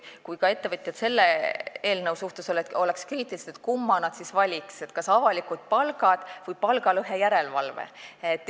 Kui ettevõtjad oleksid ka selle eelnõu suhtes kriitilised, kumma nad siis valiksid, kas avalikud palgad või palgalõhe järelevalve?